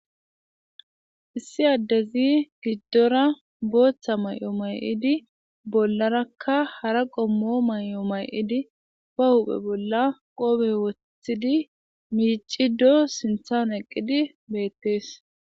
Issi addezi giddora booththa may7o may7idi bollarakka hara qommo may7o may7idi pa huphe bolla qoope wothidi miicido sinthan eqqidi beettees.